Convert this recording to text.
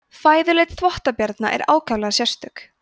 fæðuleit þvottabjarna er ákaflega sérstök